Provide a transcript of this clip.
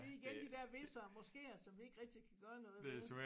Det igen de der hviser måsker som vi ikke rigtig kan gøre noget ved